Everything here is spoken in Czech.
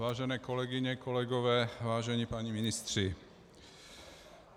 Vážené kolegyně, kolegové, vážení páni ministři.